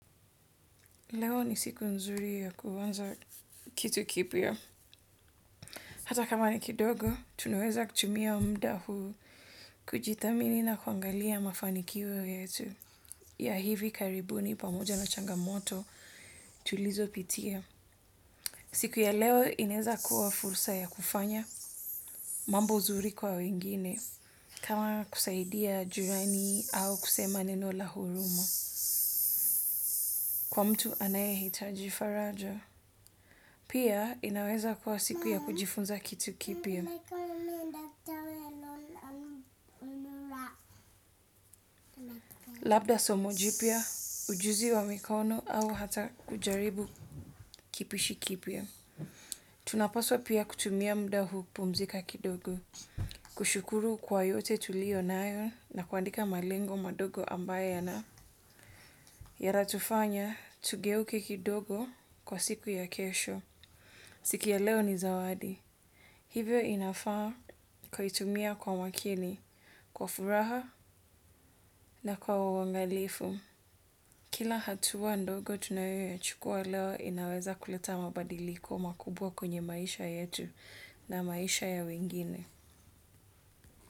Leo ni siku nzuri ya kuanza kitu kipia. Hata kama ni kidogo, tunaweza kutumia mda huu kujithamini na kuangalia mafanikio yetu. Ya hivi karibuni pamoja na changamoto tulizopitia. Siku ya leo inaeza kuwa fursa ya kufanya mambo zuri kwa wengine. Kama kusaidia jirani au kusema neno la huruma. Kwa mtu anayehitaji faraja. Pia inaweza kuwa siku ya kujifunza kitu kipya. Labda somo jipya, ujuzi wa mikono au hata kujaribu kipishi kipya. Tunapaswa pia kutumia mda huu pumzika kidogo. Kushukuru kwa yote tulionayo na kuandika malengo madogo ambaye yana. Yaratufanya, tugeuke kidogo kwa siku ya kesho. Siku ya leo ni zawadi. Hivyo inafaa kuitumia kwa makini, kwa furaha na kwa uangalifu. Kila hatuwa ndogo tunayoyachukua leo inaweza kuleta mabadiliko makubwa kwenye maisha yetu na maisha ya wengine.